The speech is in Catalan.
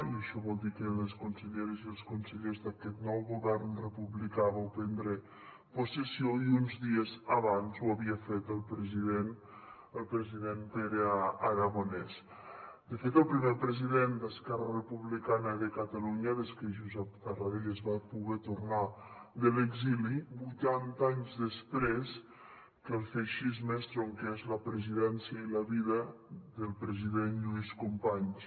i això vol dir que les conselleres i els consellers d’aquest nou govern republicà vau prendre possessió i uns dies abans ho havia fet el president el president pere aragonès de fet el primer president d’esquerra republicana de catalunya des que josep tarradellas va poder tornar de l’exili vuitanta anys després que el feixisme estronqués la presidència i la vida del president lluís companys